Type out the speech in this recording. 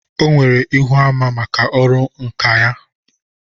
O nwere Íhúamá maka ọrụ nkà ya.